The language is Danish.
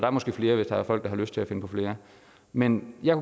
er måske flere hvis der er folk der har lyst til at finde på flere men jeg